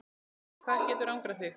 hvað getur angrað þig?